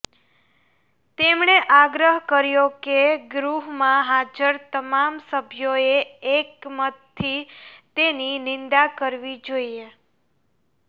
તેમણે આગ્રહ કર્યો કે ગૃહમાં હાજર તમામ સભ્યોએ એકમતથી તેની નિંદા કરવી જોઇએ